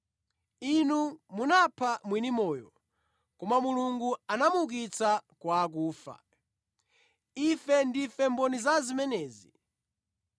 Inu munapha mwini moyo, koma Mulungu anamuukitsa kwa akufa. Ife ndife mboni za zimenezi.